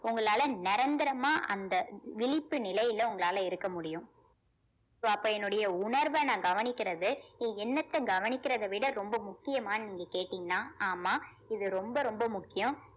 உங்களால நிரந்தரமா அந்த விழிப்பு நிலையில உங்களால இருக்க முடியும் so அப்போ என்னுடைய உணர்வ நான் கவனிக்கிறது என் எண்ணத்த கவனிக்கிறத விட ரொம்ப முக்கியமான்னு நீங்க கேட்டீங்கன்னா ஆமா இது ரொம்ப ரொம்ப முக்கியம்